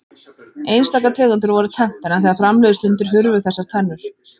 Einstaka tegundir voru tenntar en þegar fram liðu stundir hurfu þessar tennur.